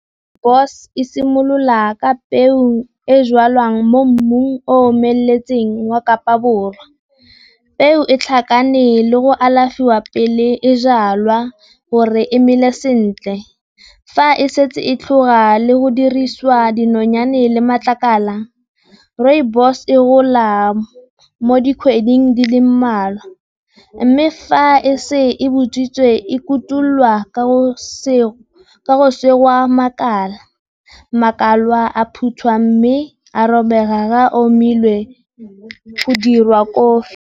Rooibos e simolola ka peo e jalwang mo mmung o omeletseng wa Kapa Borwa. Peo e tlhakane le go alafiwa pele e jalwa gore e mele sentle. Fa e setse e tlhoka le go dirisiwa dinonyane le matlakala, Rooibos e gola mo dikgweding di le mmalwa. Mme fa e se e botswitse e kotulwa ka go segwa makala, makala a phuthwa mme a robega ge a omile go diriwa kofi.